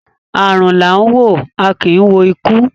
Arun la a wo, a ki i wo iku